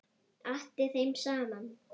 Atti þeim saman.